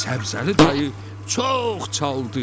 Səbzəli dayı çox çaldı.